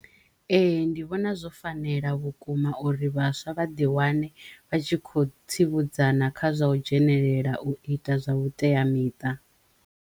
Ee ndi vhona zwo fanela vhukuma uri vhaswa vha ḓi wane vha tshi kho tsivhudzana kha zwa u dzhenelela u ita zwa vhuteamiṱa.